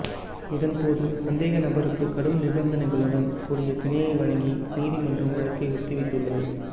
இதன்போது சந்தேகநபருக்கு கடும் நிபந்தனைகளுடன் கூடிய பிணை வழங்கிய நீதிமன்றம் வழக்கை ஒத்திவைத்துள்ளது